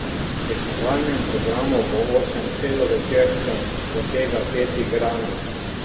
V tekmovalnem programu bo osem celovečercev, od tega pet igranih.